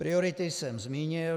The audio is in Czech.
Priority jsem zmínil.